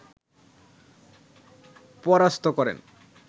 পরাস্থ করেন